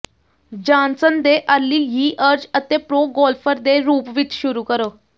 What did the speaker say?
Johnson ਦੇ early years ਅਤੇ pro golfer ਦੇ ਰੂਪ ਵਿੱਚ ਸ਼ੁਰੂ ਕਰੋ